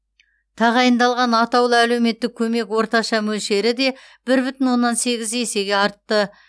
тағайындалған атаулы әлеуметтік көмек орташа мөлшері де бір бүтін оннан сегіз есеге артты